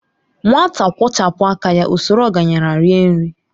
Nwata kwọchapu aka ya, ọ sọrọ ọgaranya rie nri.